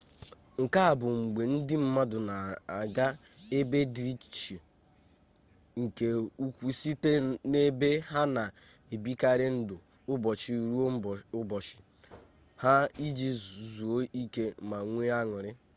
nke a bụ mgbe ndị mmadụ na-aga ebe dị iche nke ukwu site n’ebe ha na-ebikarị ndụ ụbọchị-ruo-ụbọchị ha iji zuo ike ma nwee an̄ụrị